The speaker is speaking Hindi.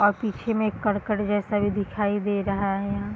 और पीछे में एक करकट जैसा दिखाई दे रहा है।